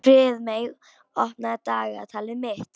Friðmey, opnaðu dagatalið mitt.